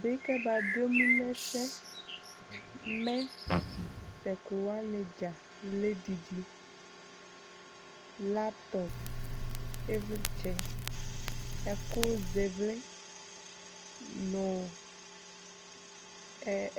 bi kɛba do emu no ɛsɛ mɛ to ɛko wani dza lɛ didi laptɔp ivlitsɛ ɛko zɛ ivli no